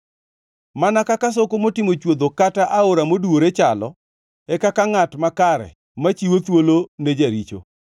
Mana kaka soko motimo chwodho kata aora moduwore chalo e kaka ngʼat makare machiwo thuolo ne jaricho.